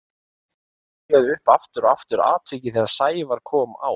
Ég rifjaði upp aftur og aftur atvikið þegar Sævar kom á